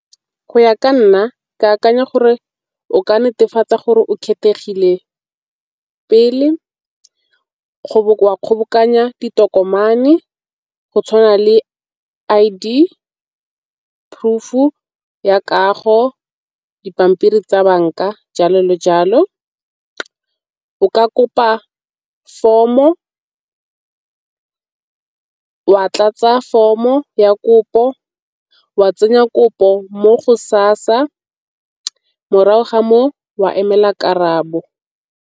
Go ya ka nna ke akanya gore o ka netefatsa gore o kgethegile pele wa kgobokanya ditokomane go tshwana le I_D, proof-u ya kago, dipampiri tsa banka, jalo le jalo. O ka kopa form-o wa tlatsa form-o ya kopo, wa tsenya kopo mo go SASSA morago ga foo wa emela karabo.